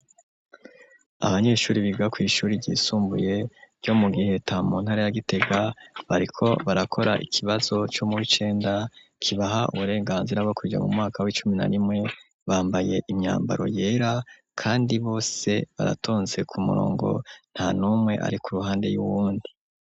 Abanyeshure biga kw'ishure ryisumbuye ryo mu Giheta, mu ntara ya Gitega, bariko barakora ikibazo co muw'icenda kibaha uburenganzira bwo kuja mu mwaka w'icumi na rimwe, bambaye imyambaro yera kandi bose baratonze ku murongo, nta numwe ari ku ruhande y'uwundi.